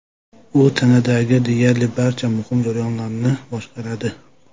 U tanadagi deyarli barcha muhim jarayonlarni boshqaradi.